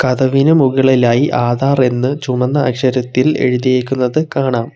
കതവിന് മുകളിലായി ആധാർ എന്ന് ചുമന്ന അക്ഷരത്തിൽ എഴുതിയിരിക്കുന്നത് കാണാം.